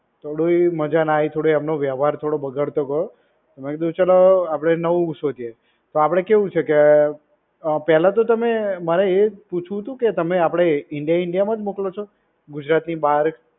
જોયે એવી મજા ના આવી. થોડો એમનો વ્યવહાર થોડો બગાડતો ગયો. તો મેં કીધું ચલો આપડે નવું શોધીએ પણ આપડે કેવું છે કે પેલા તો તમે મારે એજ પુછવું કે તમે આપણે ઇન્ડિયા ઇન્ડિયામાં જ મોકલો છો કે ગુજરાતની બાર